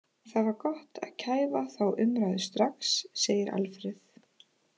Það var gott að kæfa þá umræðu strax, segir Alfreð.